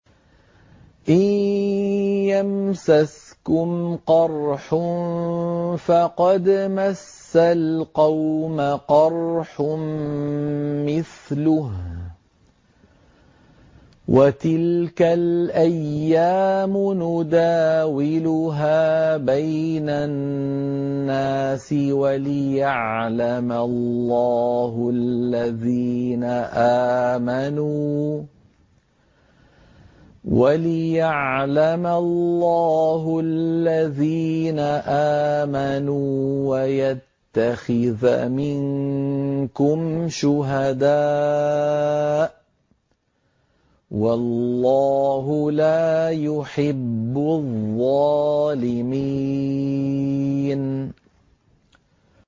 إِن يَمْسَسْكُمْ قَرْحٌ فَقَدْ مَسَّ الْقَوْمَ قَرْحٌ مِّثْلُهُ ۚ وَتِلْكَ الْأَيَّامُ نُدَاوِلُهَا بَيْنَ النَّاسِ وَلِيَعْلَمَ اللَّهُ الَّذِينَ آمَنُوا وَيَتَّخِذَ مِنكُمْ شُهَدَاءَ ۗ وَاللَّهُ لَا يُحِبُّ الظَّالِمِينَ